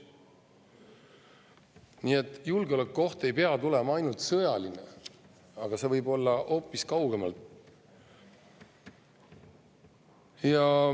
Nii et julgeolekuoht ei pea olema ainult sõjaline, see võib tulla hoopis kaugemalt.